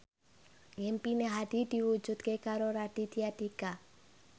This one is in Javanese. impine Hadi diwujudke karo Raditya Dika